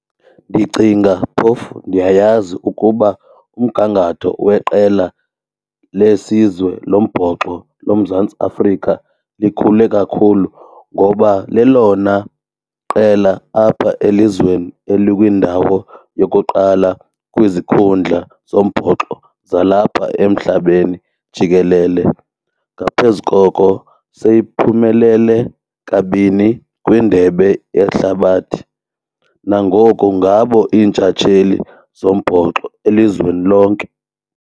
Ndicinga phofu ndiyayazi ukuba umgangatho weqela lesizwe lombhoxo loMzantsi Afrika likhule kakhulu ngoba lelona qela apha elizweni elikwindawo lokuqala kwizikhundla zombhoxo zalapha emhlabeni jikelele. Ngaphezu koko seyiphumelele kabini kwindebe yehlabathi. Nangoku ngabo iintshatsheli zombhoxo elizweni lonke.